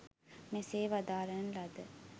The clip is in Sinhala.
මෙසේ වදාරණ ලද